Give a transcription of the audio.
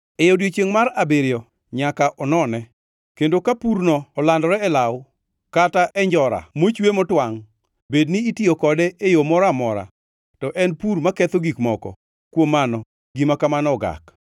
E odiechiengʼ mar abiriyo nyaka onone, kendo ka purno olandore e law, kata e njora mochwe kata motwangʼ, bedni itiyo kode e yo moro amora, to en pur maketho gik moko; kuom mano gima kamano ogak.